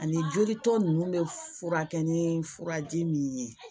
Ani joli tɔ ninnu bɛ furakɛ ni furaji min ye